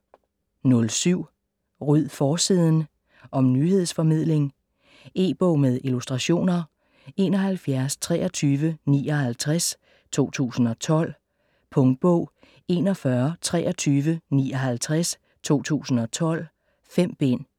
07 Ryd forsiden! Om nyhedsformidling. E-bog med illustrationer 712359 2012. Punktbog 412359 2012. 5 bind.